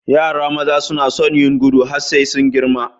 Yara maza suna sun yin gudu har sai sun girma.